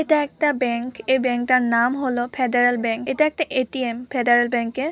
এটা একটা ব্যাংক । এই ব্যাংক -টার নাম হল ফেদারাল ব্যাংক । এটা একটা এ.টি.এম. ফেদারাল ব্যাংকের ।